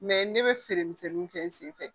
ne bɛ feere misɛnninw kɛ n senfɛ